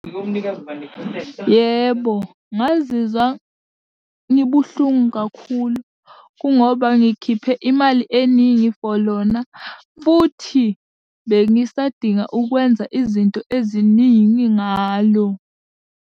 Yebo, ngazizwa ngibuhlungu kakhulu, kungoba ngikhiphe imali eningi for lona, futhi bengisadinga ukwenza izinto eziningi ngalo.